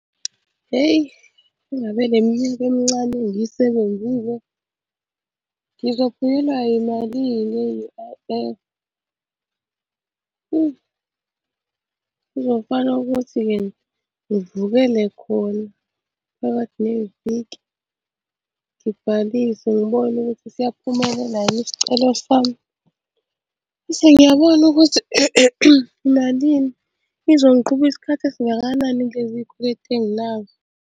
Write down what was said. Hheyi ingabe le minyaka emincane engiyisebenzile ngizophunyelwa yimalini ye-U_I_F? Kuzofanele ukuthi-ke ngivukele khona phakathi neviki, ngibhalise ngibone ukuthi siyaphumelela yini isicelo sami. Bese ngiyabona ukuthi imalini, izongiqhuba isikhathi esingakanani kulezi kweletu enginazo.